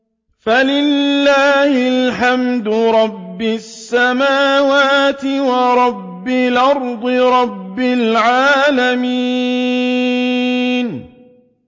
فَلِلَّهِ الْحَمْدُ رَبِّ السَّمَاوَاتِ وَرَبِّ الْأَرْضِ رَبِّ الْعَالَمِينَ